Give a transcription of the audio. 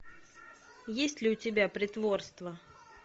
есть ли у тебя притворство